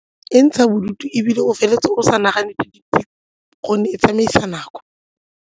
E ntsha bodutu ebile o feleletse o sa nagane sepe gonne e tsamaisa nako.